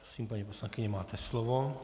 Prosím, paní poslankyně, máte slovo.